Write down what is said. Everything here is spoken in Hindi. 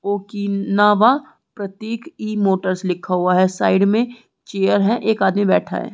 ओकीनावा प्रतीक ई मोटर्स लिखा हुआ है साइड में चेयर है एक आदमी बैठा है।